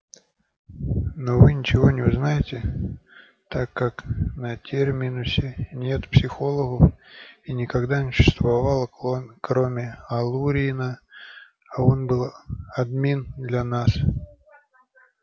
но вы ничего не узнаете так как на терминусе нет психологов и никогда не существовало кроме алурина а он был одним из нас